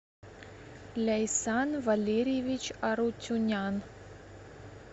ляйсан валерьевич арутюнян